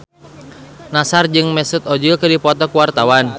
Nassar jeung Mesut Ozil keur dipoto ku wartawan